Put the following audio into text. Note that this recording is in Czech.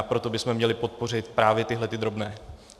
A proto bychom měli podpořit právě tyhle drobné.